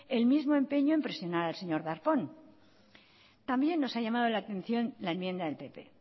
el mismo empeño en presionar al señor darpón también nos ha llamado la atención la enmienda del pp